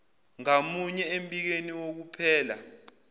ngamunye embikweni wokuphela